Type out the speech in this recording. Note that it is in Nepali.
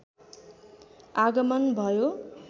आगमन भयो